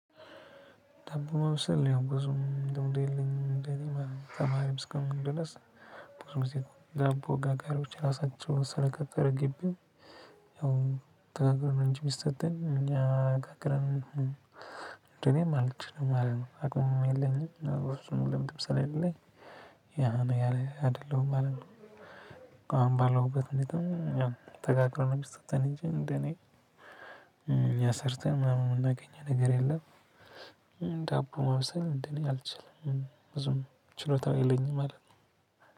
ዳቦ ማብሰል ያው ብዙም ልምዱም የለኝም እንደኔ ማለት ነው ተማሪም እስከሁንክኝ ድረስ ብዙ ጊዜ ዳቦ ጋጋሪዎች ራሳቸው ስለቀጠረ ግቢው። ያው ተጋግሮ ነው እንጂ ሚስጠን እኛ ጋግረን። እኔም አልችልም ማለት ነው አቅሙም የለኝም በፍጹም ልምድም ስለሌለኝ ያ ነው ያ አይደለሁም ማለት ነው። አሁን ባለሁበት ሁኔታ ያው ተጋግሮ ነው የሚሰጠው እንጂ እንደኔ እኛ ሰርተን ምናምን የምናገኘው ነገር የለም። ዳቦ ማብሰል እንደኔ አልችልም ብዙም ችሎታው የለኝም ማለት ነው።